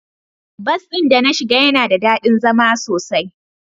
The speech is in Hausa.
Bus din da na shiga yana da dadi zama sosai.